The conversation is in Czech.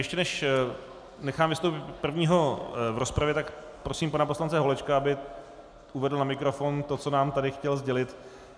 Ještě než nechám vystoupit prvního v rozpravě, tak prosím pana poslance Holečka, aby uvedl na mikrofon to, co nám tady chtěl sdělit.